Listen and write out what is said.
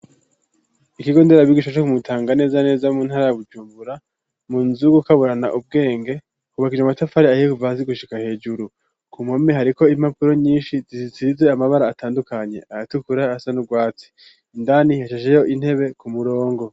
Ikigo nderabigisha co ku mutanga neza neza mu ntara ya bujumbura munzu kaburana ubwenge. Hubakishije amatafari ahihe kuva gushika hejuru ku mpome hariko impapuro nyinshi zisisize amabara atandukanye aratukura asanurwatsi indani hashejeho intebe ku murongo.